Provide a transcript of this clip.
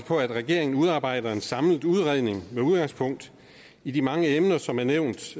på at regeringen udarbejder en samlet udredning med udgangspunkt i de mange emner som er nævnt